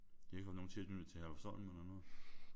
I har ikke haft nogen tilknytning til Herlufsholm eller noget?